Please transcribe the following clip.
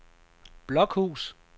Blokhus